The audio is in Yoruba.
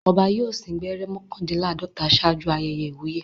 Ọba yóò sín gbẹ́rẹ́ mọ́kàndínláàdọ́ta ṣáájú ayẹyẹ ìwúyè.